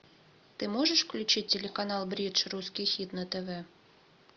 ты можешь включить телеканал бридж русский хит на тв